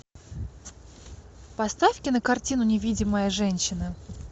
поставь кинокартину невидимая женщина